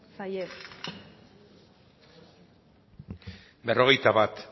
zaie berrogeita bat